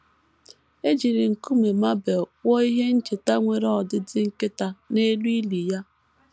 E jiri nkume marble kpụọ ihe ncheta nwere ọdịdị nkịta, n’elu ili ya.